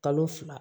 Kalo fila